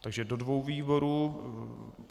Takže do dvou výborů.